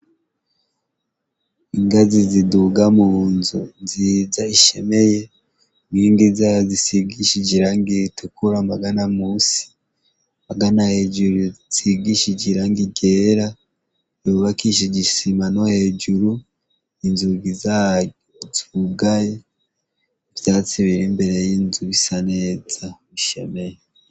Ingazi ziduga mu nzu nziza ishemeye, inkingi zazo zisigishije irangi ritukura amagana munsi, amagana hejuru hasigishije irangi ryera, yubakishije isima no hejuru, inzugi zayo zugaye, ivyatsi biri imbere y'inzu bisa neza, bishemeye.